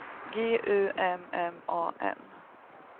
G U M M A N